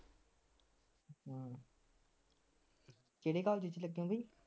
ਕਿਹੜੇ college ਵਿਚ ਲੱਗੇ ਹੋ ਬਾਈ